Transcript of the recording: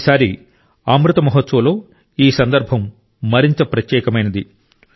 ఈసారి అమృత్ మహోత్సవ్లో ఈ సందర్భం మరింత ప్రత్యేకమైంది